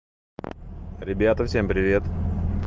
ребята всем привет